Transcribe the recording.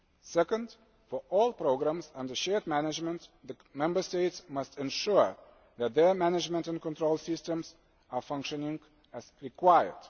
budget. Secondly, for all programmes under shared management, the Member States must ensure that their management and control systems are functioning as required.